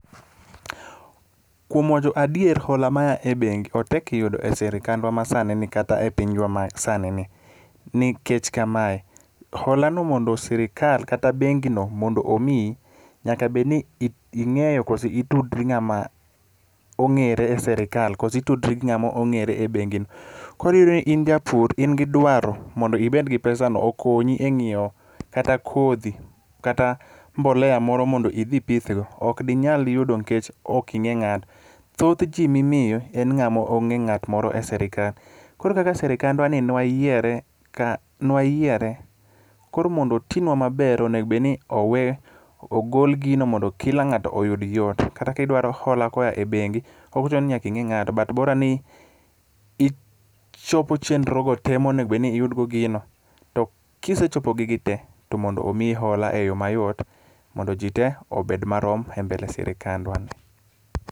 Kuom wacho adier hola ma ya e bengi otek yudo e sirikandwa masanini kata e pinywa masanini nikech kamae, hola no mondo sirikal kata bengino mondo omiyi, nyaka bed ni ing'eyo kose itudri gi ng'ama ong'ere e sirikal kose itudri gi ng'ama ong'ere e bengino. Koro in japur in gi dwaro mondo ibed gi pesano, okonyi e ng'iewo kata kodhi kata mbolea moro idhi ipithgo, ok inyal yudo nikech ok ing'e ng'ato. Thoth ji mimiyo en ng'amo ong'e ng'at moro e sirikal. Koro kaka sirikandwani ne wayiere, koro mondo otinwa maber, onego obedni ogol gino mondo kila ng'ato oyud yot, kata kidwaro hola koa e bengi, ok ochuno ni nyaka ing'e ng'ato, but bora ni ichopo chenrogo te monego bedni iyudgo gino, to kisechopo gigi te, to mondo omiyi hola e yo mayot mondo ji te obed marom e mbele sirikandwani.